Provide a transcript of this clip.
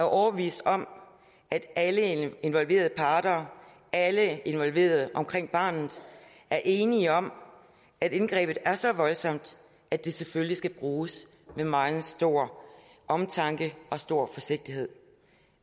overbevist om at alle involverede parter og alle involverede omkring barnet er enige om at indgrebet er så voldsomt at det selvfølgelig skal bruges med meget stor omtanke og stor forsigtighed